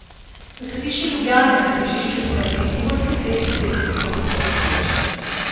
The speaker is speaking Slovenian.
V središču Ljubljane na križišču Dunajske in Tivolske ceste se je zgodila huda nesreča.